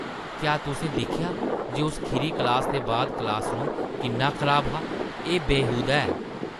क्या तुसें दिक्खेआ जे उस खीरी क्लासा दे बाद क्लासरूम किन्ना खराब हा? एह् बेहूदा ऐ।